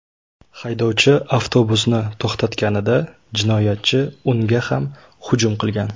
Haydovchi avtobusni to‘xtatganida, jinoyatchi unga ham hujum qilgan.